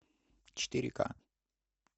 четыре ка